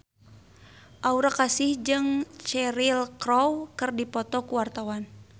Aura Kasih jeung Cheryl Crow keur dipoto ku wartawan